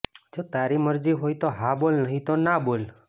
જો તારી મરજી હોય તો હા બોલ નહીં તો ના બોલ